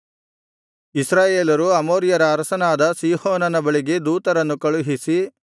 ಇಸ್ರಾಯೇಲರು ಅಮೋರಿಯರ ಅರಸನಾದ ಸೀಹೋನನ ಬಳಿಗೆ ದೂತರನ್ನು ಕಳುಹಿಸಿ